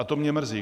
A to mě mrzí.